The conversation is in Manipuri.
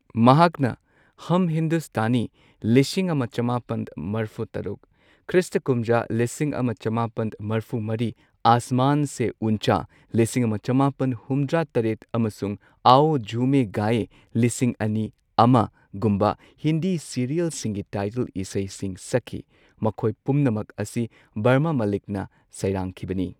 ꯃꯍꯥꯛꯅ ꯍꯝ ꯍꯤꯟꯗꯨꯁꯇꯥꯅꯤ ꯂꯤꯁꯤꯡ ꯑꯃ ꯆꯃꯥꯄꯟ ꯃꯔꯐꯨ ꯇꯔꯨꯛ, ꯈ꯭ꯔꯤꯁꯇ ꯀꯨꯝꯖꯥ ꯂꯤꯁꯤꯡ ꯑꯃ ꯆꯃꯥꯄꯟ ꯃ꯭ꯔꯐꯨ ꯃꯔꯤ, ꯑꯥꯁꯃꯥꯟ ꯁꯦ ꯎꯟꯆꯥ ꯂꯤꯁꯤꯡ ꯑꯃ ꯆꯃꯥꯄꯟ ꯍꯨꯝꯗ꯭ꯔꯥ ꯇꯔꯦꯠ ꯑꯃꯁꯨꯡ ꯑꯥꯎ ꯓꯨꯃꯦ ꯒꯥꯌꯦ ꯂꯤꯁꯤꯡ ꯑꯅꯤ ꯑꯃ ꯒꯨꯝꯕ ꯍꯤꯟꯗꯤ ꯁꯤꯔꯤꯌꯦꯜꯁꯤꯡꯒꯤ ꯇꯥꯏꯇꯜ ꯏꯁꯩꯁꯤꯡ ꯁꯛꯈꯤ꯫ ꯃꯈꯣꯏ ꯄꯨꯝꯅꯃꯛ ꯑꯁꯤ ꯕꯔꯃꯥ ꯃꯂꯤꯛꯅ ꯁꯩꯔꯥꯡꯈꯤꯕꯅꯤ꯫